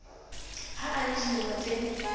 ha a le dilemo tse